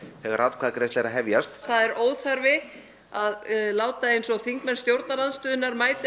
þegar atkvæðagreiðsla er að hefjast það er óþarfi að láta eins og þingmenn stjórnarandstöðunnar mæti